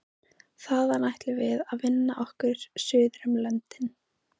Þaðan ætluðum við að vinna okkur suður um löndin.